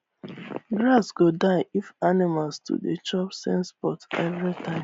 grass go die if animals too dey chop same spot every time